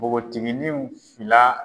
Pogotininw fila